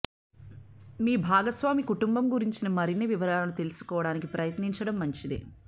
మీ భాగస్వామి కుటుంబం గురించిన మరిన్ని వివరాలను తెలుసుకోవడానికి ప్రయత్నించడం మంచిది